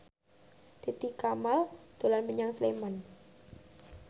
Titi Kamal dolan menyang Sleman